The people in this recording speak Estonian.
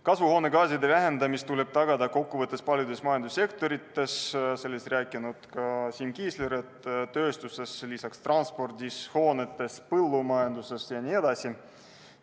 Kasvuhoonegaaside vähendamine tuleb tagada paljudes majandussektorites, nagu rääkis ka Siim Kiisler: tööstuses, lisaks transpordis, hoonetes, põllumajanduses ja nii edasi.